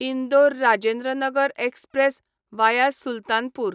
Indore Rajendranagar express via Sultanpur